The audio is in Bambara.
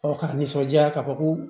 k'a nisɔndiya k'a fɔ ko